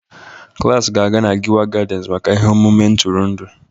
Klas ga-aga na Giwa Gardens maka ihe omume ntụrụndụ